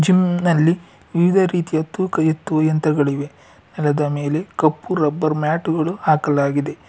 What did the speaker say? ಇಮ್ ನಲ್ಲಿ ವಿವಿಧ ರೀತಿಯ ತೂಕ ಎತ್ತುವ ಯಂತ್ರಗಳಿವೆ ನೆಲದ ಮೇಲೆ ಕಪ್ಪು ರಬ್ಬರ್ ಮ್ಯಾಟು ಗಳು ಹಾಕಲಾಗಿದೆ.